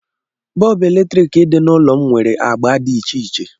Bọb eletriki dị n'ụlọ m nwere agbá dị iche iche.